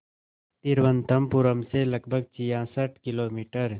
तिरुवनंतपुरम से लगभग छियासठ किलोमीटर